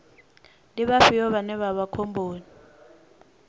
ndi vhafhio vhane vha vha khomboni